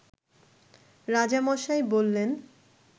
রাজামশাই বললেন